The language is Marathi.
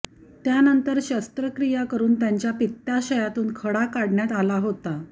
त्यानंतर शस्त्रक्रिया करून त्यांच्या पित्ताशयातून खडा काढण्यात आला होता